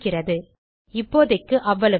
சரி இப்போதைக்கு அவ்வளவுதான்